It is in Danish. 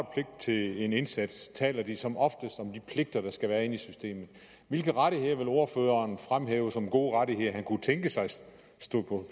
til en indsats taler de som oftest om de pligter der skal være i systemet hvilke rettigheder vil ordføreren fremhæve som gode rettigheder han kunne tænke sig stod på